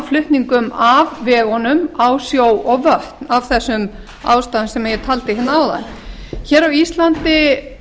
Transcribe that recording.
flutningum af vegunum á sjó og vötn af þessum ástæðum sem ég taldi hérna áðan hér á íslandi